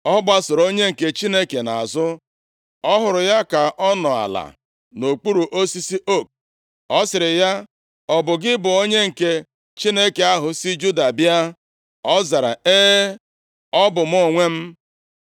Ọ gbasooro onye nke Chineke nʼazụ, ọ hụrụ ya ka ọ nọ ala nʼokpuru osisi ook, Ọ sịrị ya, “Ọ bụ gị bụ onye nke Chineke ahụ si Juda bịa?” Ọ zara, “E, ọ bụ mụ onwe m.”